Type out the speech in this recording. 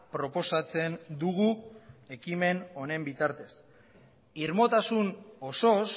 proposatzen dugu ekimen honen bitartez irmotasun osoz